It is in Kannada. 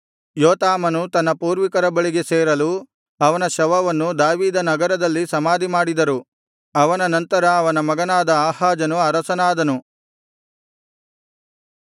ಯೋತಾಮನು ತನ್ನ ಪೂರ್ವಿಕರ ಬಳಿಗೆ ಸೇರಲು ಅವನ ಶವವನ್ನು ದಾವೀದನಗರದಲ್ಲಿ ಸಮಾಧಿಮಾಡಿದರು ಅವನ ನಂತರ ಅವನ ಮಗನಾದ ಆಹಾಜನು ಅರಸನಾದನು